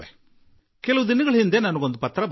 ಕೆಲವು ದಿನಗಳ ಹಿಂದೆ ನನಗೊಂದು ಪತ್ರ ದೊರಕಿತು